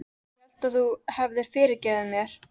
Ég hélt að þú hefðir fyrirgefið mér.